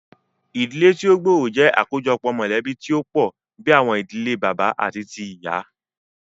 Ìdílé tí o gbóòrò jẹ́ àkójọpọ̀ mọ̀lẹ̀bí tí o pọ̀ bìí àwọn ìdílé bàbá àti tíì ìyá.